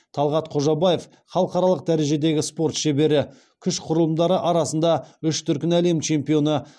талғат қожабаев халықаралық дәрежедегі спорт шебері күш құрылымдары арасында үш дүркін әлем чемпионы